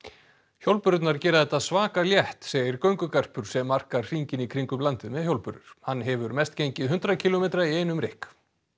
hjólbörurnar gera þetta svaka létt segir göngugarpur sem arkar hringinn í kringum landið með hjólbörur hann hefur mest gengið hundrað kílómetra í einum rykk